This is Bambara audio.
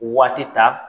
Waati ta